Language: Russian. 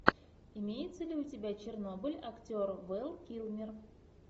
имеется ли у тебя чернобыль актер вэл килмер